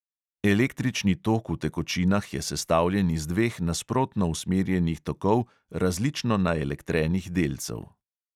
Električni tok v tekočinah je sestavljen iz dveh nasprotno usmerjenih tokov različno naelektrenih delcev.